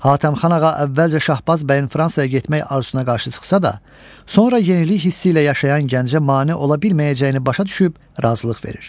Hatəmxan ağa əvvəlcə Şahbaz bəyin Fransaya getmək arzusuna qarşı çıxsa da, sonra yenilik hissi ilə yaşayan gəncə mane ola bilməyəcəyini başa düşüb razılıq verir.